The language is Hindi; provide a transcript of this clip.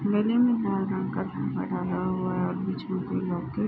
गले में लाल रंग का झुम्बर लगा हुआ है और बीच में कोई लॉकेट --